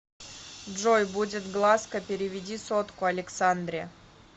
джой будет глазка переведи сотку александре